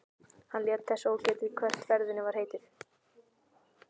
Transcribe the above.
Hann lét þess ógetið hvert ferðinni væri heitið.